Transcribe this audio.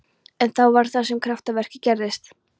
En þá var það sem kraftaverkið gerðist.